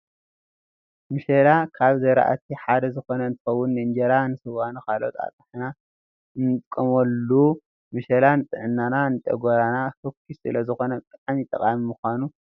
መሸላ ካብ ዘርአቲ ሓደ ዝኮነ እንትከውን ንእንጀራን ንስዋን ንካልኦትን ኣጥሕና ንጥቀመሉ። መሸላ ንጥዕናና ንጨጎራና ፎኪስ ስለ ዝኮነ ብጣዕሚ ጠቃሚ ምኳኑ ይፍለጥ።